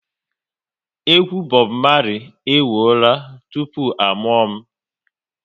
Egwu Bob Marley e wụọla tupu a mụọ m